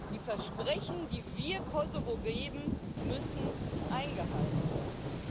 Die Versprechen, die wir Kosovo geben, müssen eingehalten werden.